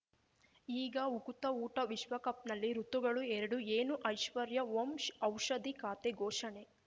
ಈಗ ಉಕುತ ಊಟ ವಿಶ್ವಕಪ್‌ನಲ್ಲಿ ಋತುಗಳು ಎರಡು ಏನು ಐಶ್ವರ್ಯಾ ಓಂ ಔಷಧಿ ಖಾತೆ ಘೋಷಣೆ